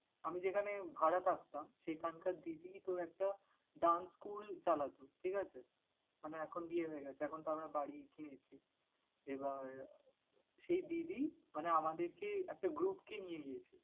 আমি যেখানে ভাড়া থাকতাম, সেখানকার দিদি তোর একটা dance school চালাতো ঠিক আছে? মানে এখন বিয়ে হয়ে গেছে, এখনতো আমরা বাড়ি কিনেছি। এবার সেই দিদি মানে আমাদেরকে মানে একটা group কে নিয়ে গিয়েছিলো।